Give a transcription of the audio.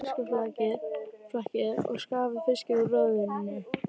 Hreinsið fiskflakið og skafið fiskinn úr roðinu.